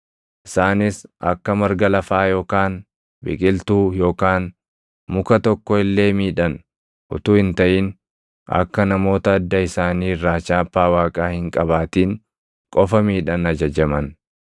Isaanis akka marga lafaa yookaan biqiltuu yookaan muka tokko illee miidhan utuu hin taʼin akka namoota adda isaanii irraa chaappaa Waaqaa hin qabaatin qofa miidhan ajajaman.